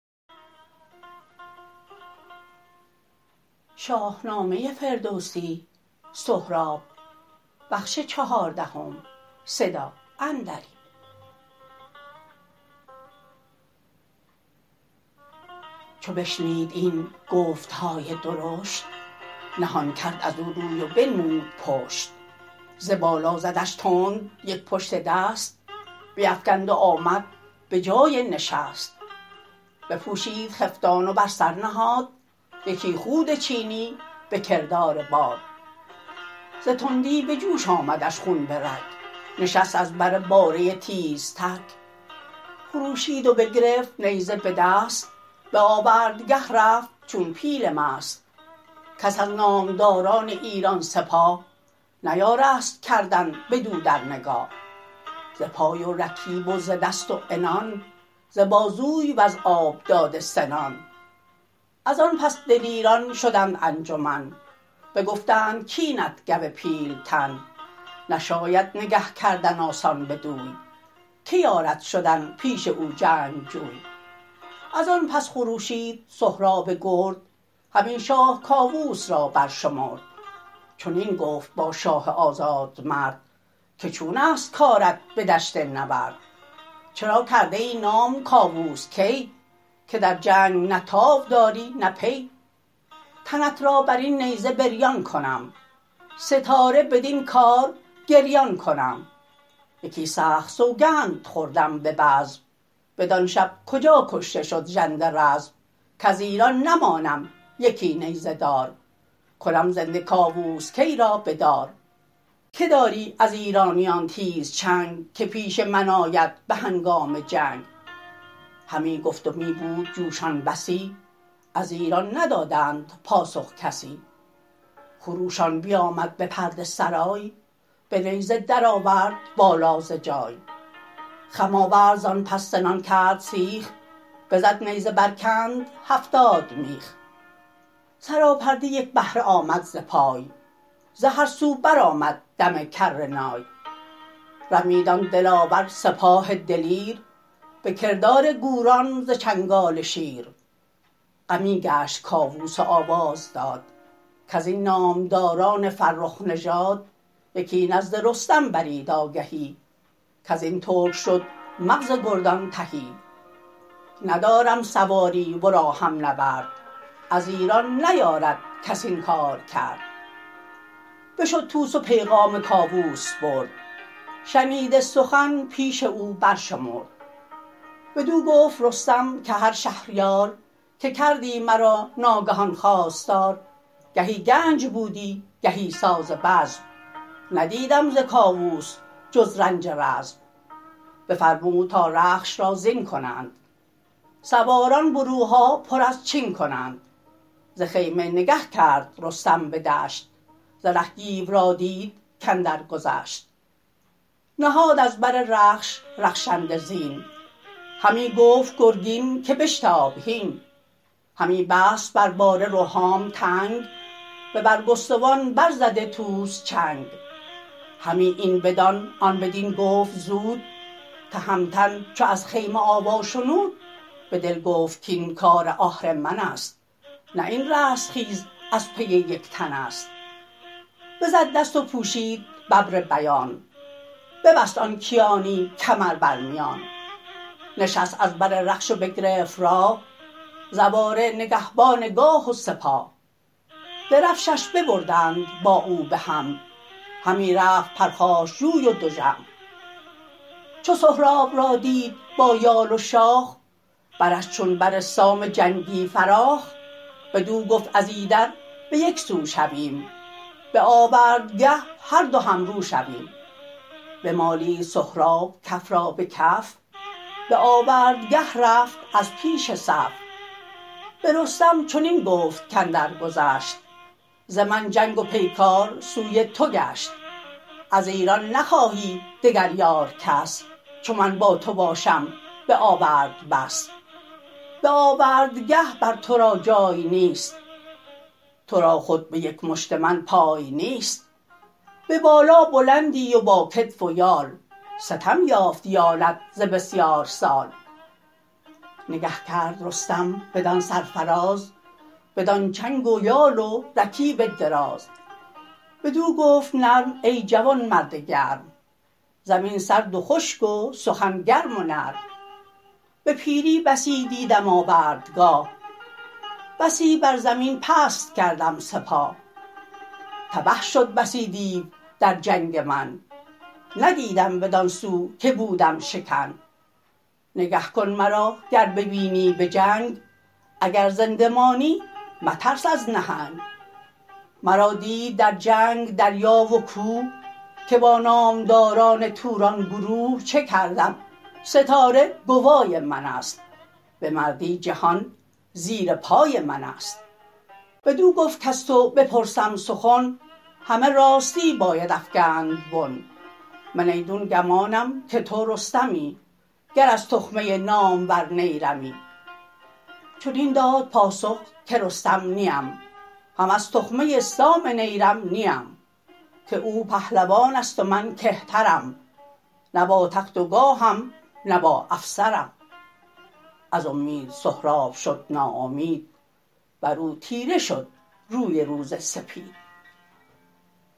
چو بشنید این گفتهای درشت نهان کرد ازو روی و بنمود پشت ز بالا زدش تند یک پشت دست بیفگند و آمد به جای نشست بپوشید خفتان و بر سر نهاد یکی خود چینی به کردار باد ز تندی به جوش آمدش خون برگ نشست از بر باره تیزتگ خروشید و بگرفت نیزه به دست به آوردگه رفت چون پیل مست کس از نامداران ایران سپاه نیارست کردن بدو در نگاه ز پای و رکیب و ز دست و عنان ز بازوی وز آب داده سنان ازان پس دلیران شدند انجمن بگفتند کاینت گو پیلتن نشاید نگه کردن آسان بدوی که یارد شدن پیش او جنگجوی ازان پس خروشید سهراب گرد همی شاه کاووس را بر شمرد چنین گفت با شاه آزاد مرد که چون است کارت به دشت نبرد چرا کرده ای نام کاووس کی که در جنگ نه تاو داری نه پی تنت را برین نیزه بریان کنم ستاره بدین کار گریان کنم یکی سخت سوگند خوردم به بزم بدان شب کجا کشته شد ژنده رزم کز ایران نمانم یکی نیزه دار کنم زنده کاووس کی را به دار که داری از ایرانیان تیز چنگ که پیش من آید به هنگام جنگ همی گفت و می بود جوشان بسی از ایران ندادند پاسخ کسی خروشان بیامد به پرده سرای به نیزه درآورد بالا ز جای خم آورد زان پس سنان کرد سیخ بزد نیزه برکند هفتاد میخ سراپرده یک بهره آمد ز پای ز هر سو برآمد دم کرنای رمید آن دلاور سپاه دلیر به کردار گوران ز چنگال شیر غمی گشت کاووس و آواز داد کزین نامداران فرخ نژاد یکی نزد رستم برید آگهی کزین ترک شد مغز گردان تهی ندارم سواری ورا هم نبرد از ایران نیارد کس این کار کرد بشد طوس و پیغام کاووس برد شنیده سخن پیش او برشمرد بدو گفت رستم که هر شهریار که کردی مرا ناگهان خواستار گهی گنج بودی گهی ساز بزم ندیدم ز کاووس جز رنج رزم بفرمود تا رخش را زین کنند سواران بروها پر از چین کنند ز خیمه نگه کرد رستم بدشت ز ره گیو را دید کاندر گذشت نهاد از بر رخش رخشنده زین همی گفت گرگین که بشتاب هین همی بست بر باره رهام تنگ به برگستوان بر زده طوس چنگ همی این بدان آن بدین گفت زود تهمتن چو از خیمه آوا شنود به دل گفت کین کار آهرمنست نه این رستخیز از پی یک تنست بزد دست و پوشید ببر بیان ببست آن کیانی کمر بر میان نشست از بر رخش و بگرفت راه زواره نگهبان گاه و سپاه درفشش ببردند با او بهم همی رفت پرخاشجوی و دژم چو سهراب را دید با یال و شاخ برش چون بر سام جنگی فراخ بدو گفت از ایدر به یکسو شویم به آوردگه هر دو همرو شویم بمالید سهراب کف را به کف به آوردگه رفت از پیش صف به رستم چنین گفت کاندر گذشت ز من جنگ و پیکار سوی تو گشت از ایران نخواهی دگر یار کس چو من با تو باشم بآورد بس به آوردگه بر ترا جای نیست ترا خود به یک مشت من پای نیست به بالا بلندی و با کتف و یال ستم یافت بالت ز بسیار سال نگه کرد رستم بدان سرفراز بدان چنگ و یال و رکیب دراز بدو گفت نرم ای جوان مرد گرم زمین سرد و خشک و سخن گرم و نرم به پیری بسی دیدم آوردگاه بسی بر زمین پست کردم سپاه تبه شد بسی دیو در جنگ من ندیدم بدان سو که بودم شکن نگه کن مرا گر ببینی به جنگ اگر زنده مانی مترس از نهنگ مرا دید در جنگ دریا و کوه که با نامداران توران گروه چه کردم ستاره گوای منست به مردی جهان زیر پای منست بدو گفت کز تو بپرسم سخن همه راستی باید افگند بن من ایدون گمانم که تو رستمی گر از تخمه نامور نیرمی چنین داد پاسخ که رستم نیم هم از تخمه سام نیرم نیم که او پهلوانست و من کهترم نه با تخت و گاهم نه با افسرم از امید سهراب شد ناامید برو تیره شد روی روز سپید